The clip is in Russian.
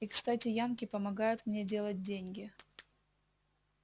и кстати янки помогают мне делать деньги